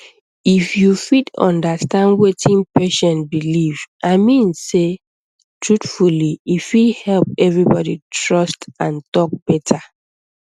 if you fit understand wetin patient believe i mean sey truthfully e fit help everybody trust and talk better